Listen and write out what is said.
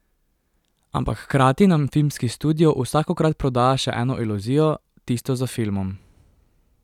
Ampak hkrati nam filmski studio vsakokrat prodaja še eno iluzijo, tisto za filmom.